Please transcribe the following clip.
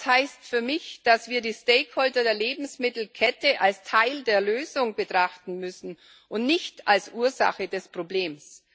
Das heißt für mich, dass wir die Stakeholder der Lebensmittelkette als Teil der Lösung betrachten müssen und nicht als Ursache des Problems.